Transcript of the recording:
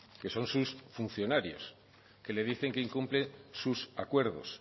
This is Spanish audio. que son sus funcionarios que le dicen que incumple sus acuerdos